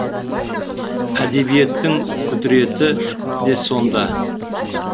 әдебиеттің құдіреті де сонда